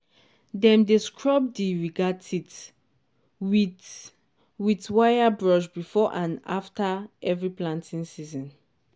dem dey scrub di ridger teeth with with wire brush before and after every planting season.